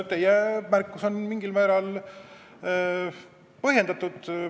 Teie märkus on mingil määral põhjendatud.